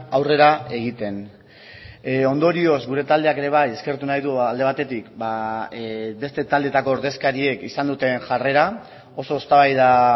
aurrera egiten ondorioz gure taldeak ere bai eskertu nahi du alde batetik beste taldeetako ordezkariek izan duten jarrera oso eztabaida